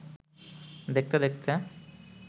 দেখতে-দেখতে